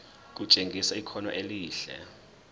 kutshengisa ikhono elihle